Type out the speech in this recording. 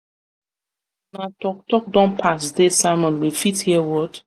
una talk talk don pass dey sermon we fit hear word.